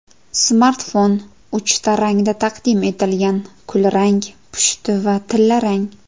Smartfon uchta rangda taqdim etilgan: kulrang, pushti va tillarang.